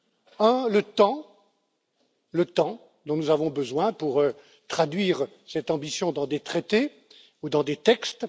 La première le temps, le temps dont nous avons besoin pour traduire cette ambition dans des traités ou dans des textes.